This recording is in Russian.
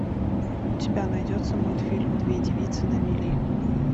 у тебя найдется мультфильм две девицы на мели